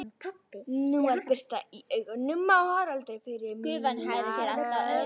Nú var birta í augunum á Haraldi, fyrir mína hönd.